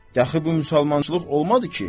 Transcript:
Dəxi bu müsəlmançılıq olmadı ki?